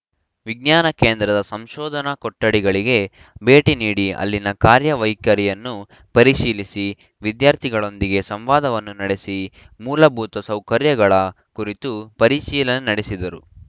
ವಿಜ್ಞಾನ ಕೇಂದ್ರದ ಸಂಶೋಧನಾ ಕೊಟ್ಟಡಿಗಳಿಗೆ ಭೇಟಿ ನೀಡಿ ಅಲ್ಲಿನ ಕಾರ್ಯ ವೈಖರಿಯನ್ನು ಪರಿಶೀಲಿಸಿ ವಿದ್ಯಾರ್ಥಿಗಳೊಂದಿಗೆ ಸಂವಾದವನ್ನು ನಡೆಸಿ ಮೂಲಭೂತ ಸೌಕರ್ಯಗಳ ಕುರಿತು ಪರಿಶೀಲನೆ ನಡೆಸಿದರು